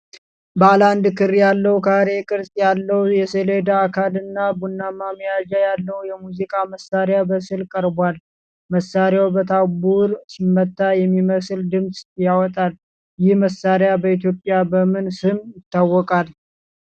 ባለ አንድ ክር ያለው፣ ካሬ ቅርጽ ያለው የሰሌዳ አካልና ቡናማ መያዣ ያለው የሙዚቃ መሣሪያ በስዕል ቀርቧል። መሣሪያው በታምቡር ሲመታ የሚመስል ድምፅ ያወጣል፤ ይህ መሣሪያ በኢትዮጵያ በምን ስም ይታወቃል?